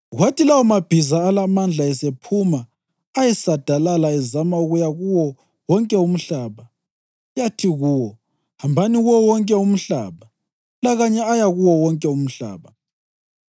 Kwathi lawomabhiza alamandla esephuma ayesadalala ezama ukuya kuwo wonke umhlaba. Yathi kuwo, “Hambani kuwo wonke umhlaba.” Lakanye aya kuwo wonke umhlaba.